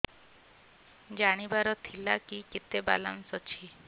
ଜାଣିବାର ଥିଲା କି କେତେ ବାଲାନ୍ସ ଅଛି